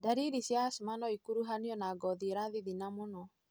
Ndariri cia asthma nocikuruhanio na ngothi ĩrathithina mũno.